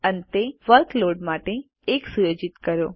અંતે વર્કલોડ માટે 1 સુયોજિત કરો